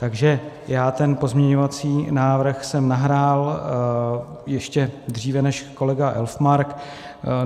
Takže já ten pozměňovací návrh jsem nahrál ještě dříve než kolega Elfmark.